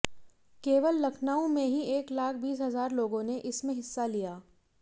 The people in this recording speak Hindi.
केवल लखनऊ में ही एक लाख बीस हजार लोगों ने इसमें हिस्सा लिया